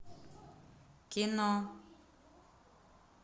кино